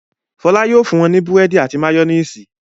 Fọlá yóò fún wọn ní búrẹ́dì àti máyónísì.